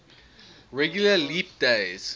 regular leap days